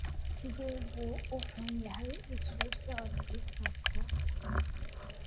sidee buu u xun yahay isu socodkii saaka